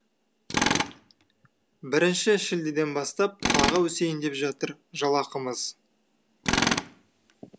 бірінші шілдеден бастап тағы өсейін деп жатыр жалақымыз